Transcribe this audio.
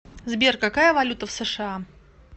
сбер какая валюта в сша